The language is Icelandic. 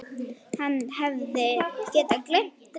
Hann hefði getað gleymt Drífu.